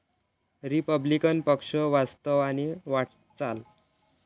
Republican पक्ष वास्तव आणि वाटचाल